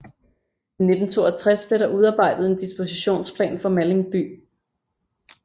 I 1962 blev der udarbejdet en dispositionsplan for Malling by